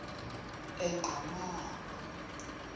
enqgamakhwe